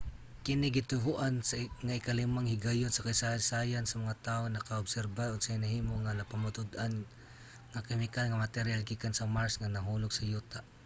kini gituohan nga ikalimang higayon sa kasaysayan nga ang mga tawo nakaobserba unsay nahimo nga napamatud-an nga kemikal nga materyal gikan sa mars nga nahulog sa yuta